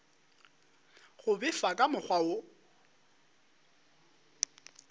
go befa ka mokgwa wo